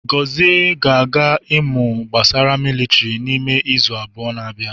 Chigozie ga-aga imu gbasara militiri n'ime izu abụọ na bia